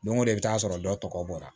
Don go don i bɛ taa sɔrɔ dɔ tɔgɔ bɔra